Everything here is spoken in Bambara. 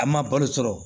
A ma balo sɔrɔ